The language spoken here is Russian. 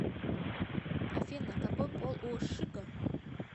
афина какой пол у шиго